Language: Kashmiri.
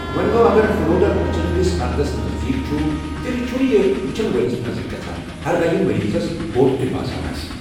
وونہِ گو، اگر فلوٹر أچھَن ہٕنٛدِس پردَس نزدیٖک چھُ، تیٚلہِ چھُنہٕ یہِ وٗچھن وٲلِس نظرِ گژھان, ہرگاہ یہِ مٔریٖضَس بوٚڑ تہِ باسان آسہِ۔